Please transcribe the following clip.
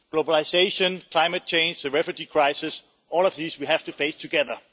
Globalisation, climate change, the refugee crisis all of these we have to face together.